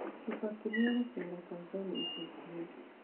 kibaki niagucera tanzania ica ĩkũhĩ